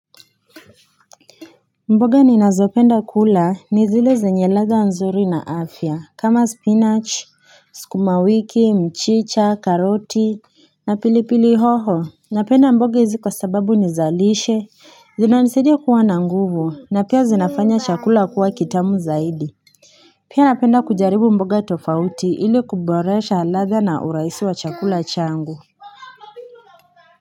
Mboga ni nazopenda kula ni zile zenye radha nzuri na afya kama spinach, sukumawiki, mchicha, karoti na pili pili hoho Napenda mboga hizi kwa sababu nizalishe zinanisaidia kuwa na nguvu na pia zinafanya chakula kuwa kitamu zaidi Pia napenda kujaribu mboga tofauti ili kuboresha radha na urahisi wa chakula changu.